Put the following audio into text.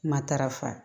Matarafa